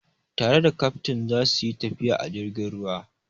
Tare da kaftin za su yi tafiya a jirgin ruwa.